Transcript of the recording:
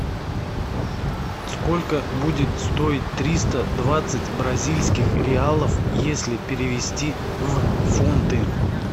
сколько будет стоить триста двадцать бразильских реалов если перевести в фунты